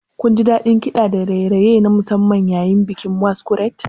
Kunji daɗin kiɗa da raye-raye na musamman yayin bikin Masquerade?